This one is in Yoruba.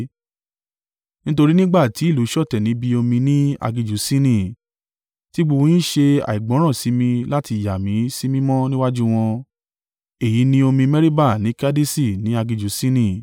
nítorí nígbà tí ìlú ṣọ̀tẹ̀ níbi omi ní aginjù Sini, tí gbogbo yín ṣe àìgbọ́ràn sí mi láti yà mí sí mímọ́ níwájú wọn.” (Èyí ni omi Meriba ní Kadeṣi ní aginjù Sini.)